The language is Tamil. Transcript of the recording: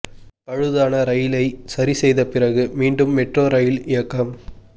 பழுதான ரயிலை சரி செய்த பிறகு மீண்டும் மெட்ரோ ரயில் இயக்கம்